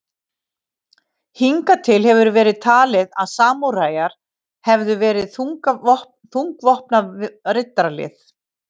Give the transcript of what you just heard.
Hingað til hefur verið talið að samúræjar hefðu verið þungvopnað riddaralið.